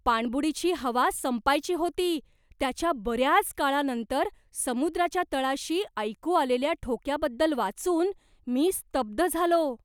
पाणबुडीची हवा संपायची होती त्याच्या बऱ्याच काळानंतर समुद्राच्या तळाशी ऐकू आलेल्या ठोक्याबद्दल वाचून मी स्तब्ध झालो.